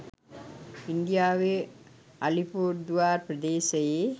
ඉන්දියාවේ අලිපුර්දුවාර් ප්‍රදේශයේ